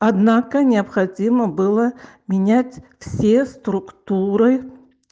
однако необходимо было менять все структуры